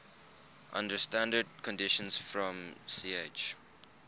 under standard conditions from ch